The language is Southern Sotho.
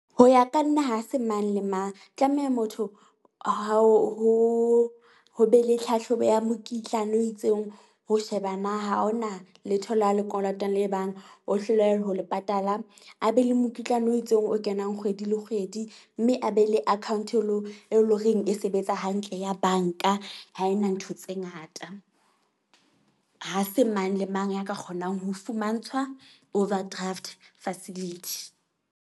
Ho ya ka nna ha se mang le mang. Tlameha motho ho ho be le tlhahlobo ya mokitlane o itseng, ho sheba na ha hona letho leo a le kolotang le e bang, o hloleha ho le patala. A be le mokitlano o itseng o kenang kgwedi le kgwedi, mme a be le account-o e leng horeng e sebetsa hantle ya bank-a. Ha ena ntho tse ngata. Ha se mang le mang ya ka kgonang ho fumantshwa overdraft facility.